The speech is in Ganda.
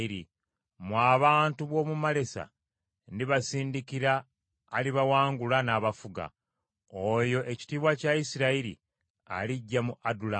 Mmwe abantu b’omu Malesa, ndibasindikira alibawangula n’abafuga. Oyo ekitiibwa kya Isirayiri alijja mu Adulamu.